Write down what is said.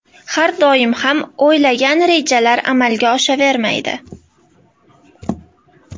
Har doim ham o‘ylagan rejalar amalga oshavermaydi.